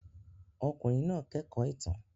Ọkùnrin náà kẹ́kọ̀ọ́ ìtàn.